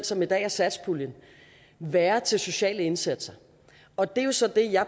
som i dag er satspuljen være til sociale indsatser og det er jo så